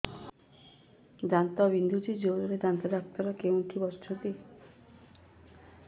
ଦାନ୍ତ ବିନ୍ଧୁଛି ଜୋରରେ ଦାନ୍ତ ଡକ୍ଟର କୋଉଠି ବସୁଛନ୍ତି